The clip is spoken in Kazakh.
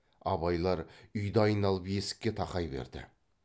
абайлар үйді айналып есікке тақай берді